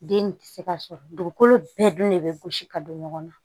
Den nin tɛ se ka sɔrɔ dugukolo bɛɛ dun de bɛ gosi ka don ɲɔgɔn na